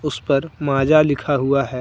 उस पर माजा लिखा हुआ है।